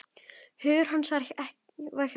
Hugur hans var hjá henni.